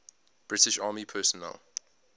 british army personnel